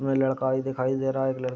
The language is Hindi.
इसमें लड़का भी दिखाई देर रहा है एक लड़--